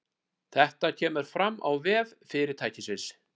Þetta kemur fram á vef fyrirtækisins